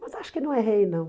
Mas acho que não errei, não.